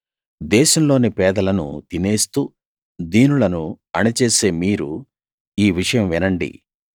దేశంలోని పేదలను తీసేస్తూ దీనులను అణిచేసే మీరు ఈ విషయం వినండి